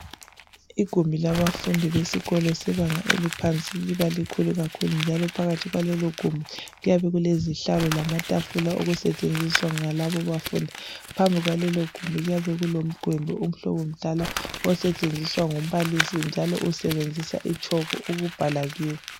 Igumbi labafundi bebanga eliphansi liba likhulu kakhulu njalo phakathi kwalelogumbi kuyabe kulezihlalo lamatafula asetshenziswa ngalabo abafundi phambi kwalelogumbi kuyabe kulomugwenge umhlobo mdala osetshenziswa ngumbalisi osebenzisa itshoko ukubhala kiyo.